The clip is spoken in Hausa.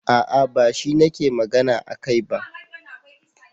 A'a bashi nake magana akai ba.